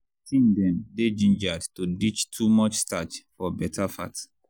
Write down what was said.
teen dem dey gingered to ditch too much starch for beta fat.